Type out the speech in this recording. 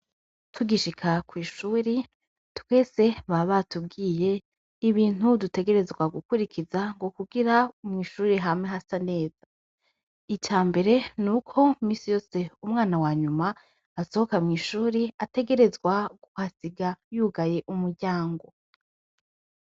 Tugishika kw'ishuri ,twese baba batubwiye ibintu dutegerezwa gukurikiza ngo kugira mw'ishuri hame hasa neza. Ica mbere n'uko misi yose umwana wa nyuma asohoka mw'ishuri ategerezwa kuhasiga yugaye umuryango.